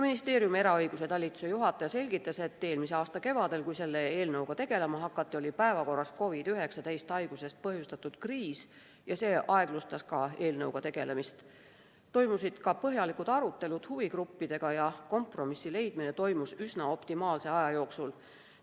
Ministeeriumi eraõiguse talituse juhataja selgitas, et eelmise aasta kevadel, kui selle eelnõuga tegelema hakati, oli päevakorras COVID‑19 haigusest põhjustatud kriis ja see aeglustas eelnõuga tegelemist, toimusid ka põhjalikud arutelud huvigruppidega ja kompromissi leidmine toimus üsna optimaalse aja jooksul.